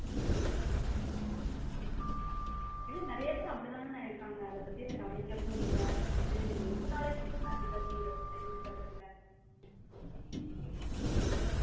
இல்ல நிறைய பேரு அப்படித்தானே அண்ணா இருக்காங்க அதை பத்திலாம் கவனிக்கிறது இல்ல அது எதுனலைன்னு தெரிஞ்சுக்கிறதும் இல்ல.